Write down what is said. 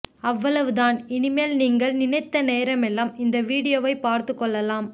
அவ்வளவுதான் இனிமேல் நீங்கள் நினைத்த நேரமெல்லாம் இந்த வீடியோவை பார்த்து கொள்ளலாம்